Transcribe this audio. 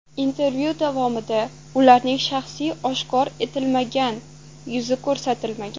Intervyu davomida ularning shaxsiy oshkor etilmagan, yuzi ko‘rsatilmagan.